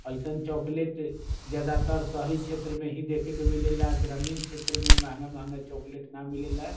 एसन चॉकलेट ज्यादातर शहरी क्षेत्र में ही देखे का मिले ला ग्रामीण क्षेत्र में महंगा महंगा चॉकलेट ना मिलेला।